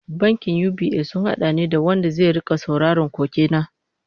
Bankin UBA sun hada ni da wanda zai rika sauraron koke na